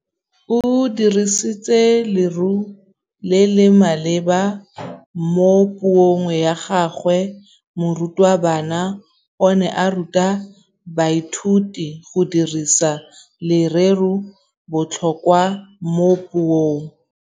O dirisitse lerêo le le maleba mo puông ya gagwe. Morutabana o ne a ruta baithuti go dirisa lêrêôbotlhôkwa mo puong.